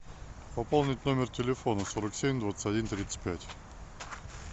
пополнить номер телефона сорок семь двадцать один тридцать пять